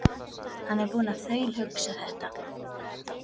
Hann er búinn að þaulhugsa þetta.